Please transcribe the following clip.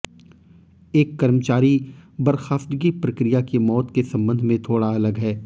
एक कर्मचारी बर्खास्तगी प्रक्रिया की मौत के संबंध में थोड़ा अलग है